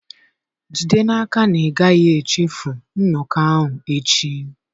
Jide n'aka na ị gaghị echefu nnọkọ ahụ echi.